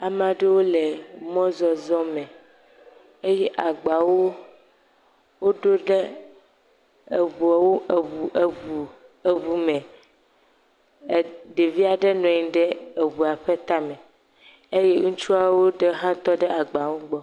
Ame aɖewo le emɔzɔzɔ me eye agbawo woɖo ɖe eŋuawo, eŋu eŋu eŋu me. E ɖevi aɖe nɔ anyi ɖe eŋua ƒe tame. Eye ŋutsuawo ɖe hã tɔ ɖe agbawo gbɔ.